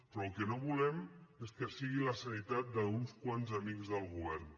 però el que no volem és que sigui la sanitat d’uns quants amics del govern